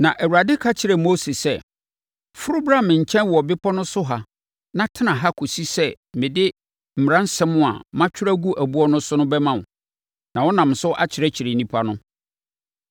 Na Awurade ka kyerɛɛ Mose sɛ, “Foro bra me nkyɛn wɔ bepɔ so ha na tena ha kɔsi sɛ mede mmaransɛm a matwerɛ agu ɛboɔ so no bɛma wo, na wonam so akyerɛkyerɛ nnipa no.”